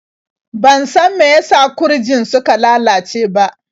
Ban san meyasa gurjin suka lalace ba.